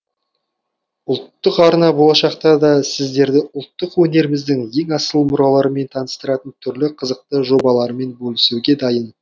ұлттық арна болашақта да сіздерді ұлттық өнеріміздің ең асыл мұраларымен таныстыратын түрлі қызықты жобалармен бөлісуге дайын